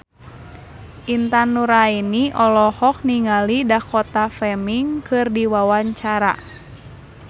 Intan Nuraini olohok ningali Dakota Fanning keur diwawancara